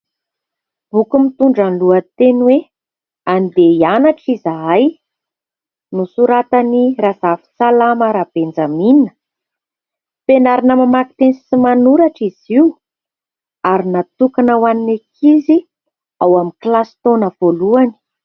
Boky mitondra ny lohateny hoe : "andeha hianatra izahay". Nosoratan'i Razafintsalama Rabenjamina. Fianarana mamaky teny sy manoratra izy io ary natokana ho an'ny ankizy ao amin'ny kilasy taona voalohany.